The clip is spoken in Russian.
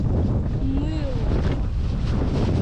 мыло